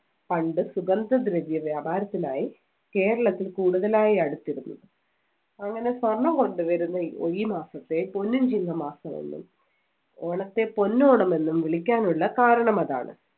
പണ്ട് സുഗന്ധദ്രവ്യ വ്യാപാരത്തിനായി കേരളത്തിൽ കൂടുതലായി അടുത്തിരുന്നു. അങ്ങനെ സ്വർണം കൊണ്ടുവരുന്ന ഈ മാസത്തെ പൊന്നും ചിങ്ങമാസമെന്നും, ഓണത്തെ പൊന്നോണമെന്നും വിളിക്കാനുള്ള കാരണമതാണ്.